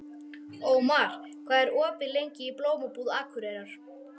Ómar, hvað er opið lengi í Blómabúð Akureyrar?